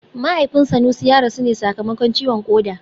Mahaifin Sanusi ya rasu ne sakamakon ciwon koda